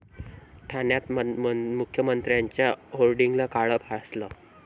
ठाण्यात मुख्यमंत्र्यांच्या होर्डिंगला काळं फासलं